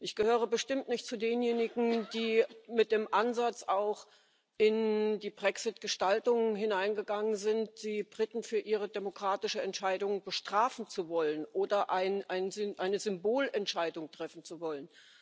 Ich gehöre bestimmt nicht zu denjenigen, die mit dem Ansatz in die Brexit Gestaltung hineingegangen sind, die Briten für ihre demokratische Entscheidung bestrafen zu wollen oder eine Symbolentscheidung treffen zu wollen.